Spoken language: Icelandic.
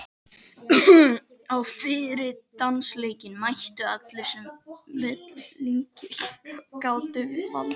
Á fyrri dansleikinn mættu allir sem vettlingi gátu valdið.